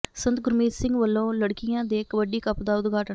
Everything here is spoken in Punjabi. ਸੰਤ ਗੁਰਮੀਤ ਸਿੰਘ ਵੱਲੋਂ ਲੜਕੀਆਂ ਦੇ ਕਬੱਡੀ ਕੱਪ ਦਾ ਉਦਘਾਟਨ